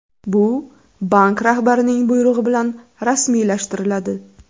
Bu bank rahbarining buyrug‘i bilan rasmiylashtiriladi.